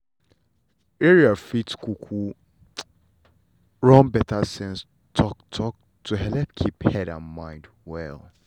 area fit um run better sense talk-talk to helep keep head and mind well.